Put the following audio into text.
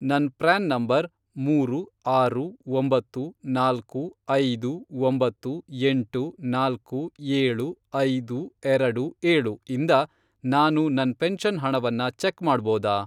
ನನ್ PRAN number, ಮೂರು, ಆರು, ಒಂಬತ್ತು, ನಾಲ್ಕು, ಐದು, ಒಂಬತ್ತು, ಎಂಟು, ನಾಲ್ಕು, ಏಳು, ಐದು, ಎರಡು, ಏಳು, ಇಂದ ನಾನು ನನ್ ಪೆನ್ಷನ್ ಹಣವನ್ನ ಚೆಕ್ ಮಾಡ್ಬೋದಾ?